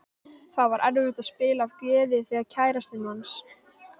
Það var erfitt að spila af gleði þegar kærastinn manns.